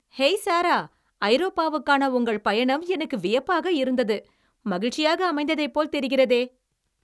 Hey Sara. ஐரோப்பாவுக்கான உங்கள் பயணம் எனக்கு வியப்பாக இருந்தது, மகிழ்ச்சியாக அமைந்ததைப் போல் தெரிகிறது.